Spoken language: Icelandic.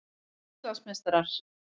Við erum Íslandsmeistarar!